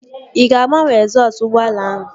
Ị ga-agbanwe egzọsụ ụgbọala ahụ?